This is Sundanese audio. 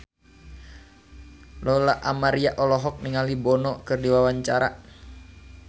Lola Amaria olohok ningali Bono keur diwawancara